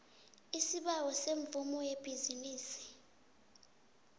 isibawo semvumo yebhizinisi